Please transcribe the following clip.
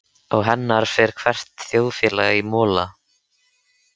Án hennar fer hvert þjóðfélag í mola.